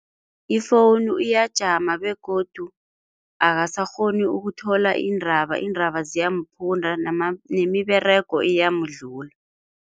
Ifowunu iyajama begodu akasakghoni ukuthola iindaba, iindaba ziyamphunda nemiberego iyamdlula.